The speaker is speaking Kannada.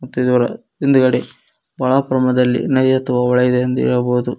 ಮತ್ತು ಇದರ ಹಿಂದ್ಗಡೆ ಒಹಳ ಪ್ರಮಾಣದಲ್ಲಿ ನದಿಯ ಹೇಳಬಹುದು.